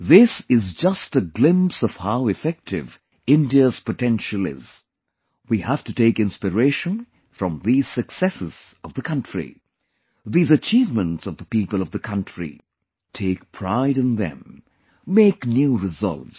This is just a glimpse of how effective India's potential is we have to take inspiration from these successes of the country; these achievements of the people of the country; take pride in them, make new resolves